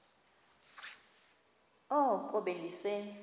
oko be ndise